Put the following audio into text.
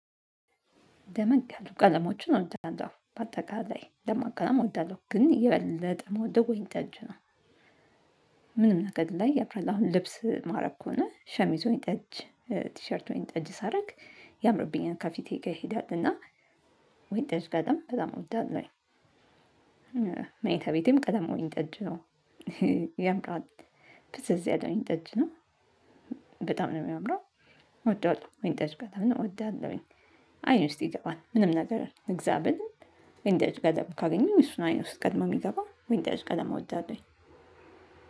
ደመቅ ያሉ ቀለሞችን እወዳለው በአጠቃላይ ደማቅ ቀለም እወዳለው ግን የበለጠ የምወደው ወይንጠጅ ነው። ምንም ነገር ላይ ያምራል አሁን ልብስ ማረክ ከሆነ ሸሚዝ ወይንጠጅ ቲሸርት ወይንጠጅ ሳደርግ ያምርብኛል ካፊቴ ጋር ይሄዳል እና ወይን ጠጅ ጋር ደግሞ በጣም ወዳጅ ነው ጠጅ ነው። ያምራል ፍዝዝ ያለ ወይንጠጅ ነው። በጣም ነው የሚያምረው እወደዋለው ወይንጠጅ ቀለምን እወደዋለው። አይን ውስጥ ይገባል ምንም ነገር ልግዛ ብል ወይንጠጅ ቀለም ካገኘው እሱ ነው አይኔ ውስጥ ቀደሞ የሚገባው ወይን ጠጅ ቀለም እወዳለው።